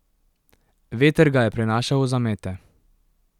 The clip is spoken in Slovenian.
Veter ga je prenašal v zamete.